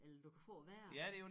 Eller du kan få det værre